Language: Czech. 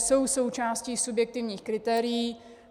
Jsou součástí subjektivních kritérií.